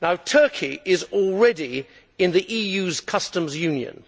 Turkey is already in the EU's Customs Union.